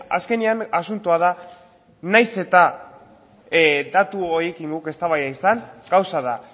azkenean asuntoa da nahiz eta datu horiekin guk eztabaida izan gauza da